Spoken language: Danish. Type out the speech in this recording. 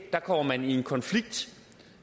der kommer man i konflikt